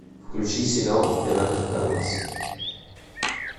включи сериал император карлос